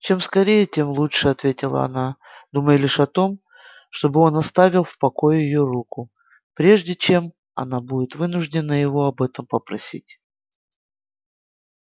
чем скорее тем лучше ответила она думая лишь о том чтобы он оставил в покое её руку прежде чем она будет вынуждена его об этом попросить